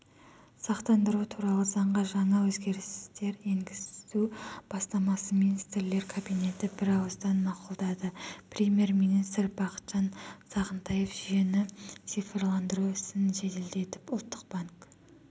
сақтандыру туралы заңға жаңа өзгерістер енгізу бастамасын министрлер кабинеті бір ауыздан мақұлдады премьер-министр бақытжан сағынтаев жүйені цифрландыру ісін жеделтедіп ұлттық банк